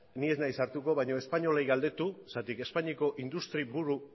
ni ez naiz sartuko baina espainolei galdetu zergatik espainiako industri buru